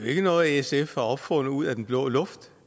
ikke noget sf har opfundet ud af den blå luft